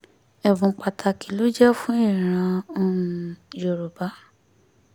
ẹ̀bùn pàtàkì ló jẹ́ fún ìran um yorùbá